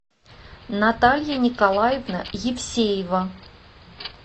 наталья николаевна евсеева